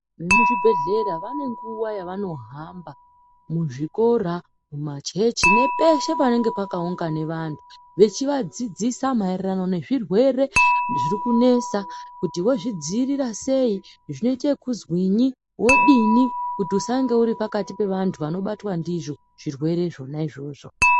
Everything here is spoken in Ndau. VeMuzvibhehlera vane nguva yavanohamba muzvikora, mumachechi nepeshe panenge pakaungana vanhu, vechivadziidzisa maererano ngezvirwere zvirikunesa, kuti vozvidziirira sei, zvoitwe zvekuzwinyi, wodini kuti usange uripakati pevanhu vanobatwa ndizvo zvirwere zvona izvozvo.